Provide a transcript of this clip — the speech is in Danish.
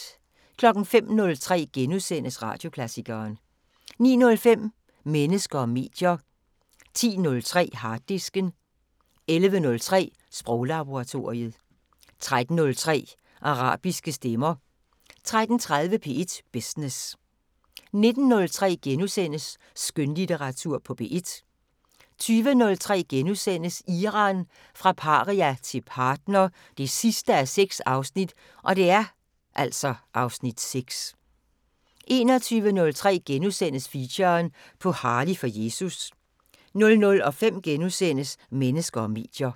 05:03: Radioklassikeren * 09:05: Mennesker og medier 10:03: Harddisken 11:03: Sproglaboratoriet 13:03: Arabiske stemmer 13:30: P1 Business 19:03: Skønlitteratur på P1 * 20:03: Iran – fra paria til partner 6:6 (Afs. 6)* 21:03: Feature: På Harley for Jesus * 00:05: Mennesker og medier *